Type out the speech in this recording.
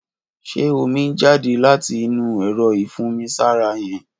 Ṣé ómi n jàdé làtí inù ẹrọ ifùnmisàrá yèn?